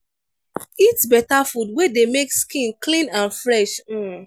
eat better food wey dey make skin clean and fresh um